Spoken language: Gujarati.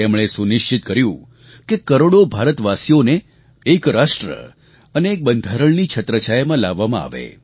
તેમણે એ સુનિશ્ચિત કર્યું કે કરોડો ભારતવાસીઓને એક રાષ્ટ્ર અને એક બંધારણની છત્રછાયામાં લાવવામાં આવે